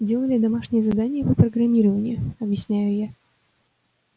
делали домашнее задание по программированию объясняю я